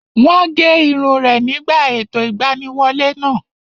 Wọ́n gé irun rẹ̀ nígbà ètò ìgbaniwọlé náà